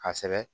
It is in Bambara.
Ka sɛbɛ